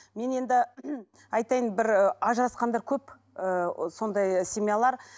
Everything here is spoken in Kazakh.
мен енді айтайын бір ажырасқандар көп ы сондай семьялар